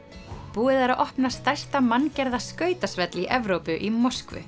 búið er að opna stærsta manngerða skautasvell í Evrópu í Moskvu